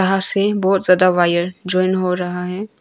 यहां से बहुत ज्यादा वायर ज्वाइन हो रहा है।